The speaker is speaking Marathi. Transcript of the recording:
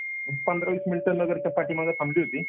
एक पंधरा वीस मिनटं नगरच्या पाठीमागे थांबली होती.